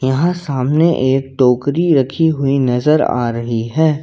यहां सामने एक टोकरी रखी हुई नजर आ रही है।